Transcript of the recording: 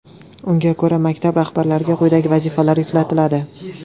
Unga ko‘ra, maktab rahbarlariga quyidagi vazifalar yuklatiladi.